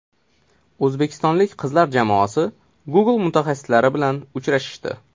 O‘zbekistonlik qizlar jamoasi Google mutaxassislari bilan uchrashdi.